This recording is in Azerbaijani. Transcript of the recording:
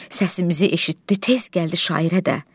Səsimizi eşitdi, tez gəldi şairə də.